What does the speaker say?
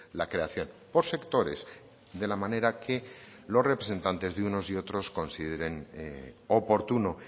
la creación por sectores de la manera que los representantes de unos y otros consideren oportuno